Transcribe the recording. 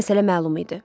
Məsələ məlum idi.